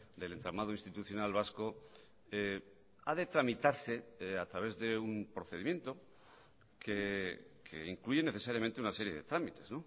del entramado institucional vasco ha de tramitarse a través de un procedimiento que incluye necesariamente una serie de trámites